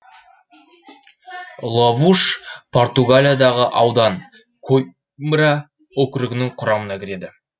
лавуш португалиядағы аудан коимбра округінің құрамына кіреді